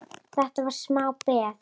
Þetta var smá peð!